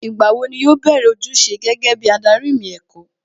Ìgbà wo ni yóò bẹ̀rẹ̀ ojúṣe gẹ́gẹ́ bí adarí ìmọ̀ ẹ̀kọ́?